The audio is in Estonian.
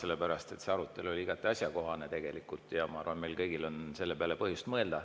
See arutelu oli tegelikult igati asjakohane ja ma arvan, et meil kõigil on selle peale põhjust mõelda.